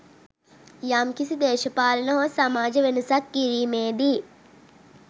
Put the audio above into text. යම්කිසි දේශපාලන හෝ සමාජ වෙනසක් කිරීමේදී